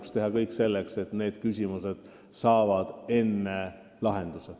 Tuleb teha kõik selleks, et need küsimused saavad enne lahenduse.